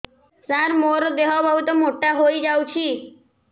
ସାର ମୋର ଦେହ ବହୁତ ମୋଟା ହୋଇଯାଉଛି